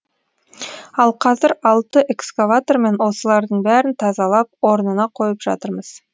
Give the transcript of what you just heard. ал қазір алты экскаватормен осылардың бәрін тазалап орнына қойып жатырмыз